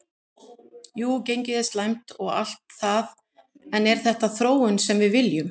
Jú gengið er slæmt og allt það en er þetta þróunin sem við viljum?